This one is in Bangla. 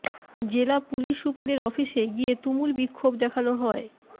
জেলা পুলিশ সুপারের অফিসে গিয়ে তুমুল বিক্ষোভ দেখানো হয়